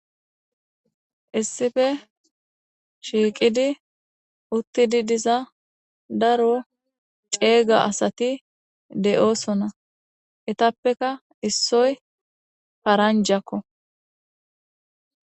Issife shiiqidi uttidi diza daro ceega asati de'oosona etappeka issoy paranjakko.